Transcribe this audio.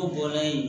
O bɔlen